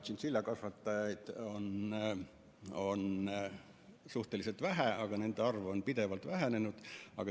Tšintšiljakasvatajaid on suhteliselt vähe ja nende arv on pidevalt vähenenud.